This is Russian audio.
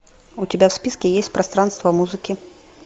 у тебя в списке есть пространство музыки